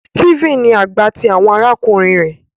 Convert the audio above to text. Steven ní àgbà ti àwọn arákùnrin rẹ